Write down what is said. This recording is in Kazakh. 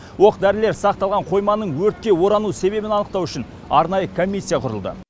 оқ дәрілер сақталған қойманың өртке орану себебін анықтау үшін арнайы комиссия құрылды